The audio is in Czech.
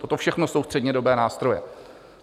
Toto všechno jsou střednědobé nástroje.